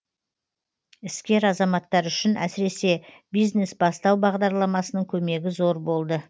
іскер азаматтар үшін әсіресе бизнес бастау бағдарламасының көмегі зор болды